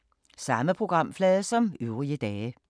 Samme programflade som øvrige dage